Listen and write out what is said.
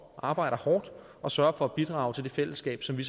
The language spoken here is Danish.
arbejder hårdt og sørger for at bidrage til det fællesskab som vi